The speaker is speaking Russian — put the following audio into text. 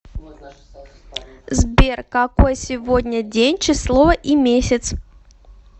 сбер какой сегодня день число и месяц